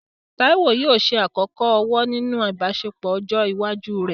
Taiwo yóò ṣe àkọ́kọ́ ọ̀wọ̀ nínú ìbáṣepọ̀ ọjọ́ iwájú rẹ̀.